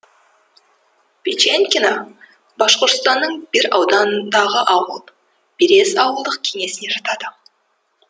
печенкино башқұртстанның бир ауданындағы ауыл берез ауылдық кеңесіне жатады